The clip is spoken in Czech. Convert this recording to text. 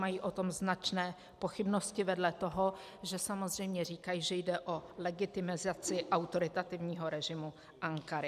Mají o tom značné pochybnosti vedle toho, že samozřejmě říkají, že jde o legitimizace autoritativního režimu Ankary.